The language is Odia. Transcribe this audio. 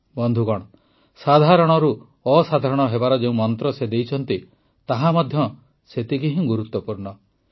ବନ୍ଧୁଗଣ ସାଧାରଣରୁ ଅସାଧାରଣ ହେବାର ଯେଉଁ ମନ୍ତ୍ର ସେ ଦେଇଛନ୍ତି ତାହା ମଧ୍ୟ ସେତିକି ହିଁ ଗୁରୁତ୍ୱପୂର୍ଣ୍ଣ